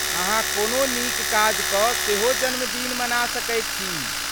अहाँ कोनो नीक काज कऽ सेहो जन्मदिन मना सकैत छी।